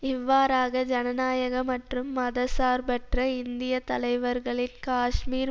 இவ்வாறாக ஜனநாயக மற்றும் மத சார்பற்ற இந்திய தலைவர்களின் காஷ்மீர்